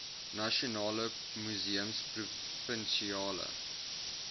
nasionale museums provinsiale